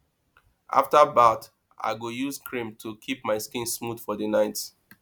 after bath i go use cream to keep my skin smooth for the night